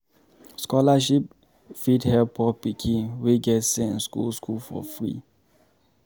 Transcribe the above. Scholarship fit help poor pikin wey get sense go school for free